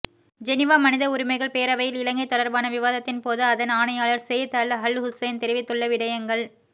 Geneva மனித உரிமைகள் பேரவையில் இலங்கை தொடர்பான விவாதத்தின்போது அதன் ஆணையாளர் செய்யித் அல் அல்ஹுசைன் தெரிவித்துள்ள விடயங்கள்